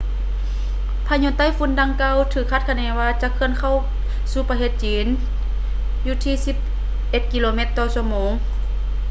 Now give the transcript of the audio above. ພາຍຸໄຕ້ຝຸ່ນດັ່ງກ່າວ ຖືກຄາດຄະເນວ່າ ຈະເຄື່ອນເຂົ້າສູ່ປະເທດຈີນຢູ່ທີ່ສິບເອັດກິໂລແມັດຕໍ່ຊົ່ວໂມງ